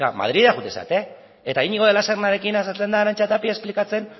madrilera joaten zarete eta iñigo de la sernarekin azaltzen da arantxa tapia esplikatzen